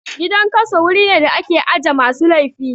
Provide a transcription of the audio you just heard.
Gidan kaso wuri ne da ake aje masu laifi